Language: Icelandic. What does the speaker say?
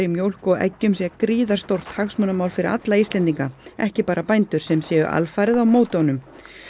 mjólk og eggjum sé gríðarstórt hagsmunamál fyrir alla Íslendinga ekki bara bændur sem séu alfarið á móti honum